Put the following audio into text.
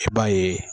I b'a ye